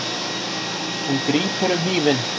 Hún grípur um hnífinn.